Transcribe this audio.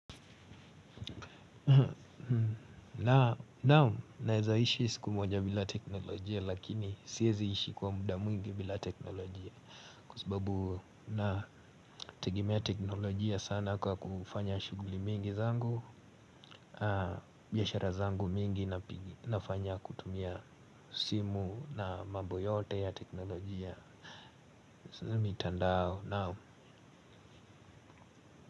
Na naam naezaishi siku moja bila teknolojia lakini siezi ishi kwa muda mwingi bila teknolojia. Kwa sababu na tegemea teknolojia sana kwa kufanya shughuli mingi zangu biashara zangu mingi nafanya kutumia simu na mambo yote ya teknolojia mitandao naam.